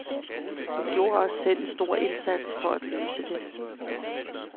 Hun gjorde også selv en stor indsats for at løse det.